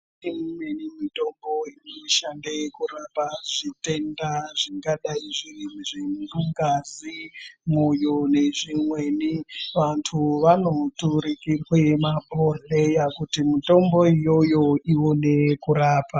Kune imweni mitombo inoshande kurapa zvitenda zvingadai zviri mungazi, mwoyo nezvimweni. Vantu vanoturukirwe mabhodhleya kuti mitombo iyoyo ione kurapa.